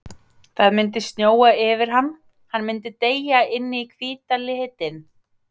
Það myndi snjóa yfir hann, hann myndi deyja inn í hvíta litinn.